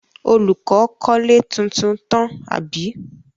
Olùkọ́ kọ́lé tuntun tán, àbí?